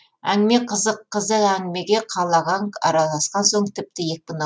әңгіме қызық қызық әңгімеге қал ағаң араласқан соң тіпті екпін